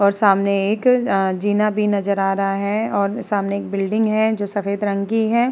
और सामने एक अ जीना भी नज़र आ रहा है और सामने एक बिल्डिंग है जो सफ़ेद रंग की है।